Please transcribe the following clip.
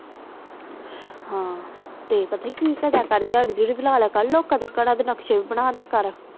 ਹਾਂ ਤੇ ਪਤਾ ਕਿ ਕਰਦੇ ਆ ਡਿਯਹਰਿ ਡਿਯਰੇ ਤੇ ਲੈ ਲਿਆ ਕਰ ਤੇ ਲੋਕ ਦੇ ਘਰ ਦੇ ਨਕਸ਼ੇ ਵੀ ਬਣਾ ਡਾ ਕਰ